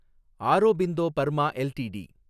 Aurobindo Burma LTD